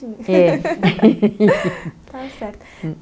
É. Está certo.